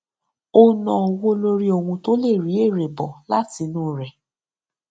ó nà owó lórí ohun tó lè rí èrè bọ látinú rẹ